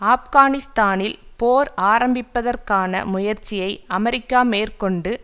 ஆப்கானிஸ்தானில் போர் ஆரம்பிப்பதற்கான முயற்சியை அமெரிக்கா மேற்கொண்டு